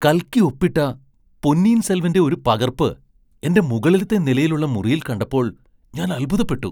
കൽക്കി ഒപ്പിട്ട പൊന്നിയിൻ സെൽവന്റെ ഒരു പകർപ്പ് എന്റെ മുകളിലെത്തെ നിലയിലുള്ള മുറിയിൽ കണ്ടപ്പോൾ ഞാൻ അത്ഭുതപ്പെട്ടു!